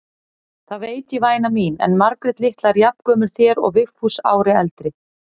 Það veit ég væna mín, en Margrét litla er jafngömul þér og Vigfús ári eldri.